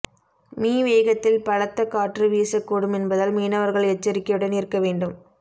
me வேகத்தில் பலத்த காற்று வீசக்கூடும் என்பதால் மீனவர்கள் எச்சரிக்கையுடன் இருக்க வேண்டும்